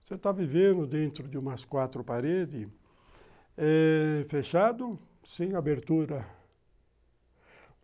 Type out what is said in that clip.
Você está vivendo dentro de umas quatro paredes eh... fechado, sem abertura.